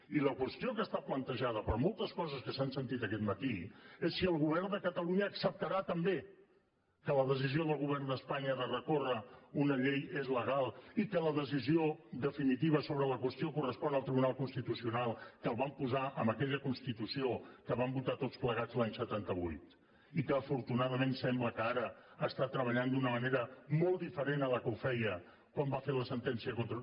i la qüestió que està plantejada per moltes coses que s’han sentit aquest matí és si el govern de catalunya acceptarà també que la decisió del govern d’espanya de recórrer contra una llei és legal i que la decisió definitiva sobre la qüestió correspon al tribunal constitucional que el van posar en aquella constitució que vam votar tots plegats l’any setanta vuit i que afortunadament sembla que ara està treballant d’una manera molt diferent de la que ho feia quan va fer la sentència contra